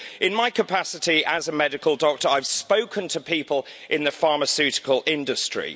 In my capacity as a medical doctor, I have spoken to people in the pharmaceutical industry.